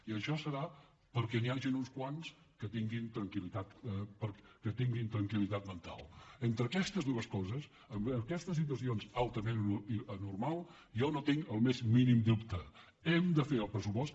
i això serà perquè n’hi hagin uns quants que tinguin tranquil·entre aquestes dues coses amb aquestes situacions al·tament anormals jo no hi tinc el més mínim dubte hem de fer el pressupost